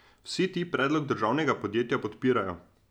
Vsi ti predlog državnega podjetja podpirajo.